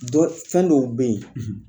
Don fɛn dɔw be yen